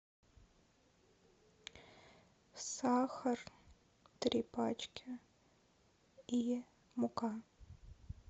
сахар три пачки и мука